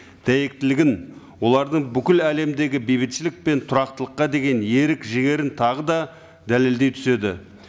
дәйектілігін олардың бүкіл әлемдегі бейбітшілік пен тұрақтылыққа деген ерік жігерін тағы да дәлеледей түседі